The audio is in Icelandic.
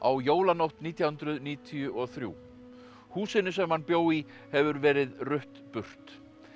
jólanótt nítján hundruð níutíu og þrjú húsinu sem hann bjó í hefur verið rutt burt